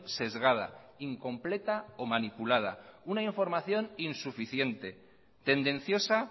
sesgada incompleta o manipulada una información insuficiente tendenciosa